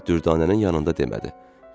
Amma Dürdanənin yanında demədi.